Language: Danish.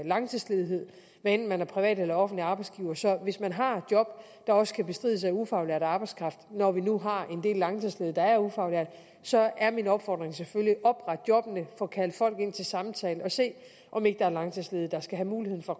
langtidsledighed hvad enten man er privat eller offentlig arbejdsgiver så hvis man har job der også kan bestrides af ufaglært arbejdskraft når vi nu har en del langtidsledige der er ufaglærte så er min opfordring selvfølgelig opret jobbene få kaldt folk ind til samtale og se om ikke der er langtidsledige der skal have muligheden for